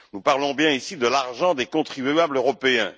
Nous parlons bien ici de l'argent des contribuables européens.